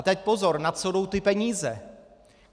A teď pozor - na co jdou ty peníze.